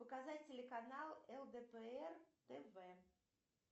показать телеканал лдпр тв